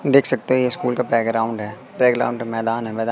देख सकते ये स्कूल का बैकग्राउंड है बैकग्राउंड मैदान है मैदा--